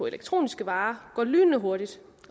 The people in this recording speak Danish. elektroniske varer går lynende hurtigt